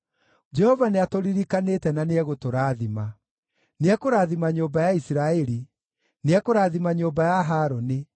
Jehova nĩatũririkanĩte na nĩegũtũrathima: Nĩekũrathima nyũmba ya Isiraeli, nĩekũrathima nyũmba ya Harũni,